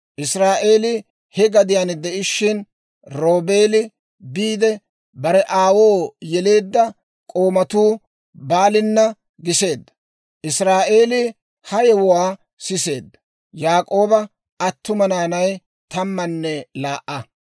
Israa'eelii he gadiyaan de'ishshin, Roobeeli biide, bare aawoo yeleedda k'oomatti Baalina giseedda. Israa'eelii ha yewuwaa siseedda. Yaak'ooba attuma naanay tammanne laa"a.